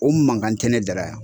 O mankan tɛ ne dara yan.